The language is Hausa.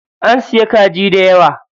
An siya kaji dayawa.